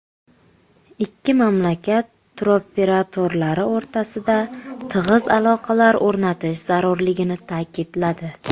Ikki mamlakat turoperatorlari o‘rtasida tig‘iz aloqalar o‘rnatish zarurligini ta’kidladi.